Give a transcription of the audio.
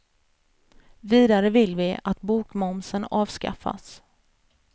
Vidare vill vi att bokmomsen avskaffas.